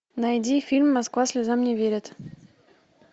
найди фильм москва слезам не верит